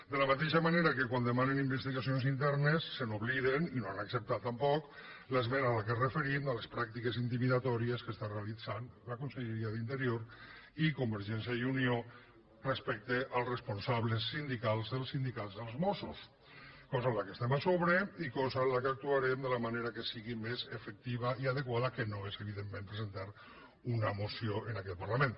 de la mateixa manera que quan demanen investigacions internes se n’obliden i no han acceptat tampoc l’esmena a què ens referim a les pràctiques intimidatòries que està realitzant la conselleria d’interior i convergència i unió respecte als responsables sindicals dels sindicats dels mossos cosa que estem a sobre i cosa que actuarem de la manera que sigui més efectiva i adequada que no és evidentment presentant una moció en aquest parlament